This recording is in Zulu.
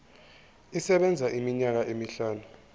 isebenza iminyaka emihlanu